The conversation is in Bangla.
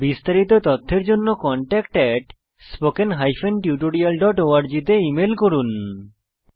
বিস্তারিত তথ্যের জন্য contactspoken tutorialorg তে ইমেল করুন